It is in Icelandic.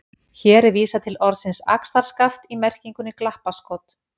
Hér er vísað til orðsins axarskaft í merkingunni glappaskot.